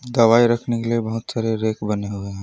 दवाई रखने के लिए बहुत सारे रैक बने हुए हैं।